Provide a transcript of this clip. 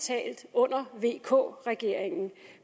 under vk regeringen